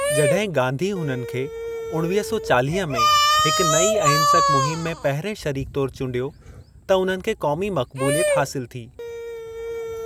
जड॒हिं गाँधी उन्हनि खे उणिवीह सौ चालीह में हिकु नईं अहिंसक मुहिमु में पहिरिएं शरीकु तौरु चूंडियो त उन्हनि खे क़ौमी मकबूलियत हासिलु थी।